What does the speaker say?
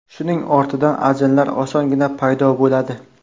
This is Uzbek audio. Shuning ortidan ajinlar osongina paydo bo‘ladi.